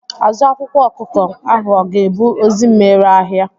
Azụ akwụkwọ akụkọ ahụ ọ ga-ebu ozi mgbere ahịa?